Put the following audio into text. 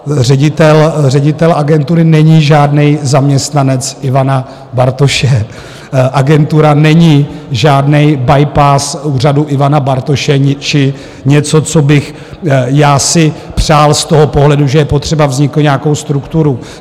Ředitel agentury není žádný zaměstnanec Ivana Bartoše, agentura není žádný bypass úřadu Ivana Bartoše či něco, co bych já si přál z toho pohledu, že je potřeba vznikl (?) nějakou strukturu.